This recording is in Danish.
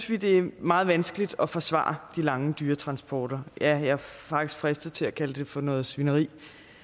vi det er meget vanskeligt at forsvare de lange dyretransporter ja jeg er faktisk fristet til at kalde det for noget svineri